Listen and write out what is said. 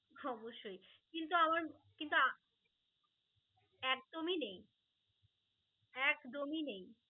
অবশই কিন্তু আমার কিন্তু আ~ একদমই নেই, একদমই নেই